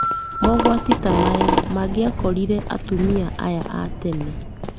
Mogwati ta maya mangĩakorire atumia aya a tene,